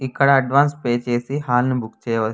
ఇక్కడ advance pay చేసి hall book చేస్కోవచ్చు --